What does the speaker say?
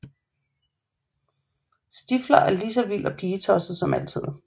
Stifler selv er lige så vild og pigetosset som altid